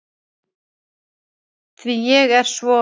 Því ég er svo